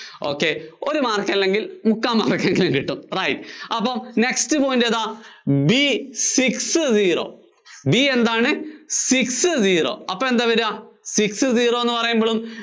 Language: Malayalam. ഒരു mark അല്ലെങ്കില്‍ മുക്കാല്‍ mark എങ്കിലും കിട്ടും right. അപ്പോ next point ഏതാ? B six zero B എന്താണ് six zero അപ്പോ എന്താ വര്വ six zero എന്ന് പറയുമ്പളും